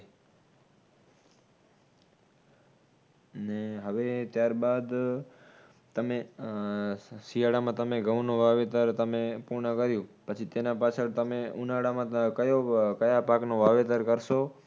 ને હવે ત્યારબાદ તમે ઉહ શિયાળામાં તમે ઘઉંનો વાવેતર તમે પૂર્ણ કર્યું પછી તેના પાછળ તમે ઉનાળામાં કયો કયા પાકનો વાવેતર કરશો?